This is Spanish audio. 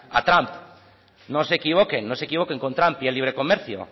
a trump no se equivoquen con trump y el libre comercio